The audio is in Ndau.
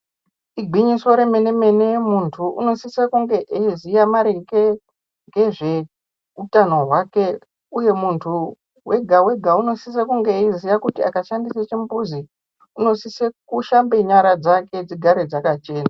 Igwinyiso remenemene muntu unosise kunge eiziya maringe nezveutano hwake uye muntu wega wega unosise kunge eiziya kuti akashandise chimbuzi unosise kushambe nyara dzake dzigare dzakachena.